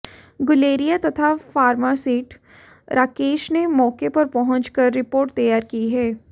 गुलेरिया तथा फार्मासिस्ट राकेश ने मौके पर पहुंचकर रिपोर्ट तैयार की है